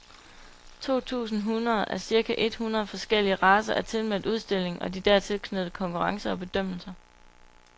To tusind hunde af cirka et hundrede forskellige racer er tilmeldt udstillingen og de dertil knyttede konkurrencer og bedømmelser.